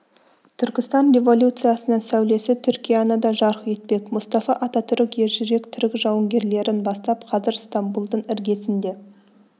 түркістан революциясының сәулесі түркияны да жарық етпек мұстафа ататүрік ержүрек түрік жауынгерлерін бастап қазір стамбулдың іргесінде